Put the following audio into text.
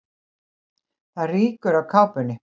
Það rýkur af kápunni.